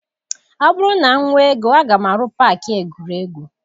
Ọ bụrụ na m nwee ego, aga m arụ paakị egwuregwu.